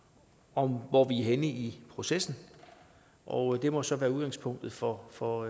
om hvor vi er henne i processen og det må så være udgangspunktet for for